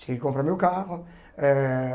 Cheguei a comprar meu carro eh.